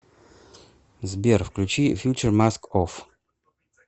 сбер включи фьючер маск офф